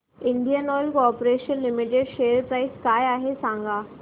Indian Oil Corporation Limited share price काय आहे सांगा